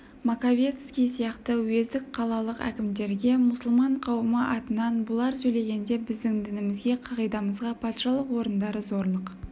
маковецкий сияқты уездік қалалық әкімдерге мұсылман қауымы атынан бұлар сөйлегенде біздің дінімізге қағидамызға патшалық орындары зорлық